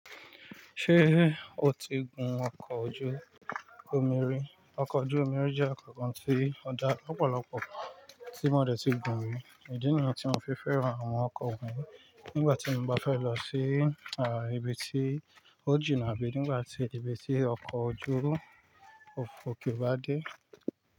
Ṣé o ti gun ọkọ̀ ojú omiri? Ọkọ̀ ojú omiri jẹ́ ọkọ̀ kan tí ó dá ọ̀pọ̀lọpọ̀ tí mo dẹ̀ ti gun rí. Ìdí nìyẹn tí mo fi fẹ́ran àwọn ọkọ̀ òkun nígbàtí mo bá fẹ́ lọ sí, à, ibi tí ó jìnà bíi nígbà tí ibi tí ọkọ̀ ojú òfuurufú kò bá dé.